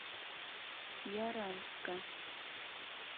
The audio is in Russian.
яранска